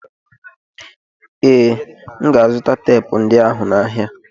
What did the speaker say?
Ee, M ga-azụta teepu ndị ahụ n'ahịa echi.